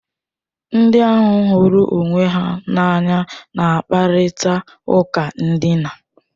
Ndị ahụ hụrụ onwe ha n'anya na-akparịta ụka ndịna.